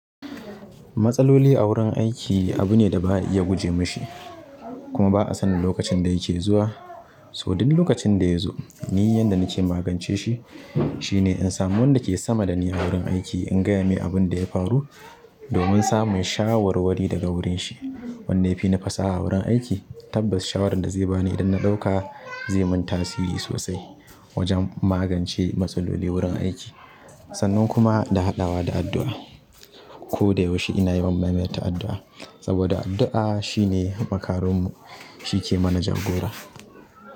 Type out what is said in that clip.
Matsaloli a wurin aiki abu ne da ba ya guje mashi kuma ba a sanin lokacin da yake zuwa. So duk lokacin da ya zo ni yanda nake magance shi, shine in samu wanda ke sama da ni a wurin aiki in gaya mai abin da ya faru domin samun shawarwari daga wurin shi. Wanda ya fini fasaha wurin aiki. Tabbas shawarar da zai bani idan na ɗauka zai man tsairi sosai wajen magance matsaloli wurin aiki. Sannan kuma da haɗawa da addu'a. Koda yaushe ina yawan maimaita addua saboda addu'a shine makaron mu, shi yake mana jagora.